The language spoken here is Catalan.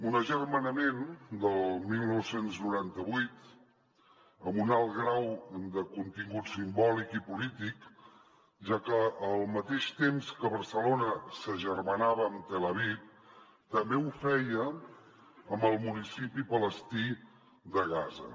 un agermanament del dinou noranta vuit amb un alt grau de contingut simbòlic i polític ja que al mateix temps que barcelona s’agermanava amb tel aviv també ho feia amb el municipi palestí de gaza